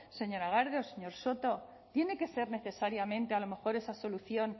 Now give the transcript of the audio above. señor soto tiene que ser necesariamente a lo mejor esa solución